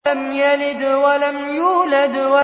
لَمْ يَلِدْ وَلَمْ يُولَدْ